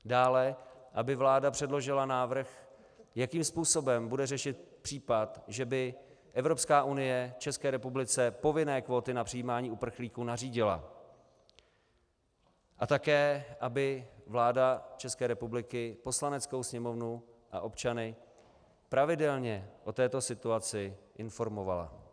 Dále, aby vláda předložila návrh, jakým způsobem bude řešit případ, že by Evropská unie České republice povinné kvóty na přijímání uprchlíků nařídila, a také aby vláda České republiky Poslaneckou sněmovnu a občany pravidelně o této situaci informovala.